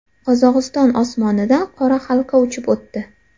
Qozog‘iston osmonidan qora halqa uchib o‘tdi .